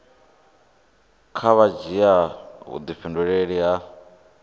kha vha dzhia vhudifhinduleli ha